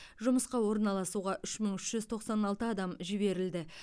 жұмысқа орналасуға үш мың үш жүз тоқсан алты адам жіберілді